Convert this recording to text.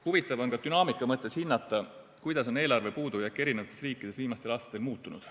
Huvitav on ka dünaamika mõttes hinnata, kuidas on eelarve puudujääk eri riikides viimastel aastatel muutunud.